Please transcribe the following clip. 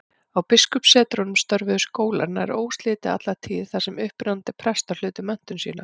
Á biskupssetrunum störfuðu skólar nær óslitið alla tíð, þar sem upprennandi prestar hlutu menntun sína.